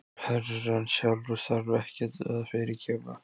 Herrann sjálfur þarf ekkert að fyrirgefa.